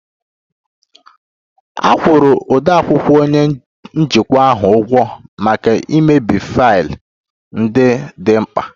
A kwụrụ odeakwụkwọ onye njikwa ahụ ụgwọ maka imebi faịlụ ndị dị mkpa